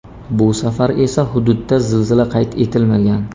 Bu safar esa hududda zilzila qayd etilmagan.